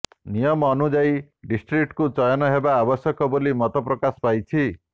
ନିୟମ ଅନୁଯାୟୀ ଡିଷ୍ଟ୍ରିକ୍ଟ ଚୟନ ହେବା ଆବଶ୍ୟକ ବୋଲି ମତ ପ୍ରକାଶ ପାଇଛି